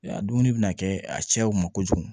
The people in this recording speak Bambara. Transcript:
A dumuni bɛna kɛ a cɛw ma kojugu